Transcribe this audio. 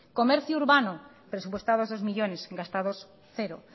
comercio urbano presupuestados dos millónes gastados cero